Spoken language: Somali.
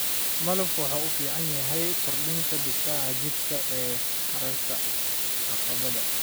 Malabku waxa uu u fiican yahay kordhinta difaaca jidhka ee ka hortagga caabuqa.